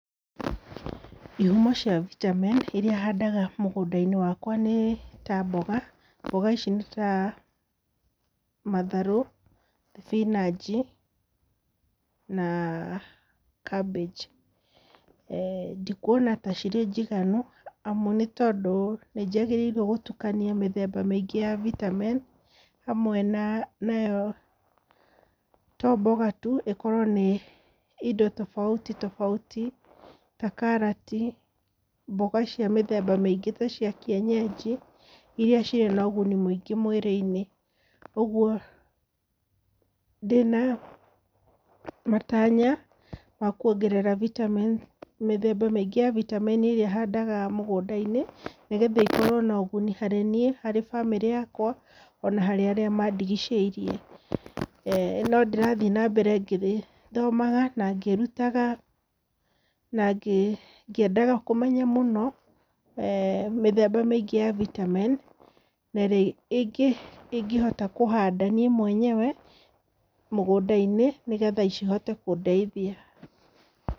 Ihumo cia vitamin iria handaga mũgũnda-inĩ wakwa nĩ, ta mboga, mboga ici nĩ ta matharũ, thibinanji na cabbage ndikuona ta cĩrĩ njiganu amu nĩ tondũ nĩnjagĩrĩirwo nĩ gũtukania mĩthemba mĩngĩ ya vitamin hamwe nayo to mboga tu ikorwo na indo tobauti tobauti ta karati, mboga cia mĩthemba mĩingĩ ta kĩenyeji iria cĩrĩ na ũgũni mũingĩ mwĩrĩ-inĩ, ũgũo, ndĩna matanya ma kuongerera vitamin mĩthemba mĩingĩ ya vitamin ĩrĩa handaga mũgũnda-inĩ nĩgetha ikorwo na ũgũni harĩ nĩĩ harĩ bamĩrĩ yakwa, ona harĩ aríĩ mandigicĩirie. No ndĩrathĩĩ nambere ngĩthomaga na ngĩĩrũtaga na ngĩendaga kũmenya mũũo mĩthemba mĩingĩ ya vitamin na ĩrĩa ingĩhota kũhanda nie mwenyewe mũgũnda-inĩ nĩgetha cihote kũndeithia.